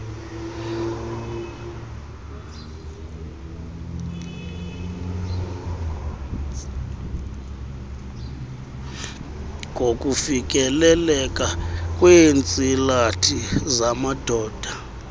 ngokufikeleleka kweentsilathi zamadoda